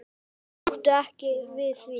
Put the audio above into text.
Þau máttu ekki við því.